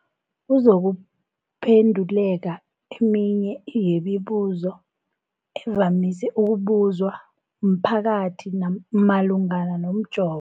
kuzokuphe nduleka eminye yemibu zo evamise ukubuzwa mphakathi malungana nomjovo.